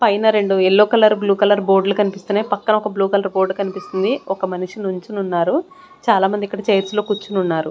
పైన రెండు yellow colour blue colour board లు కనిపిస్తున్నయ్ పక్కన ఒక బ్లూ కలర్ బోర్డ్ కన్పిస్తుంది. ఒక మనిషి నుంచొని ఉన్నారు చాలామంది ఇక్కడ చైర్స్ లో కూర్చొని ఉన్నారు.